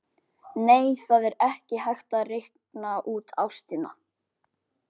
Nei, það er ekki hægt að reikna út ástina.